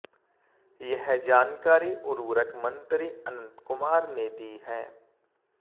यह जानकारी उर्वरक मंत्री अनंत कुमार ने दी है